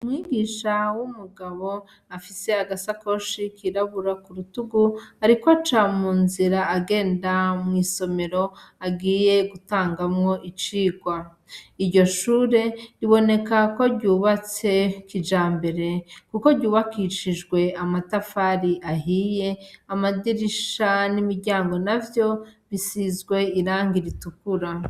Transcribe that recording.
Umwigisha w'umugabo afise agasakoshi kirabura ku rutugu, ariko aca mu nzira agenda mw'isomero agiye gutangamwo icirwa iryo shure riboneka ko ryubatse kija mbere, kuko ryubakishijwe amatafari ahiyea amadirisha n'imiryango na vyo bisizwe irangi ritukura.